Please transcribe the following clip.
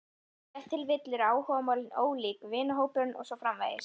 Ef til vill eru áhugamálin ólík, vinahópurinn og svo framvegis.